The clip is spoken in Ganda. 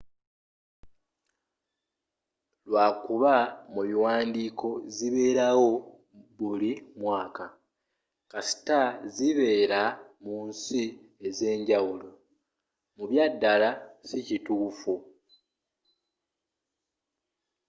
lwakuba mubiwaandiiko zibelawo buli mwaka kasita zibeera munsi ezenjawulo mu byaddala sikituufu